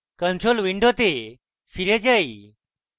control window ফিরে যাই